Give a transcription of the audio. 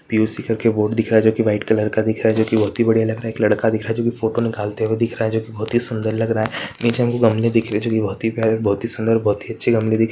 POC. करके board दिख रहा है जो की व्हाइट कलर का दिख रहा है जो की बहुत ही बढ़िया लग रहा है एक लड़का दिख रहा है जो की फोटो निकालते हुए दिख रहा है जो की बहुत ही सुंदर लग रहा है नीचे हमको गमले दिख रहे है जो की बहुत ही प्यारे बहुत ही सुंदर बहुत ही अच्छे गमले दिख--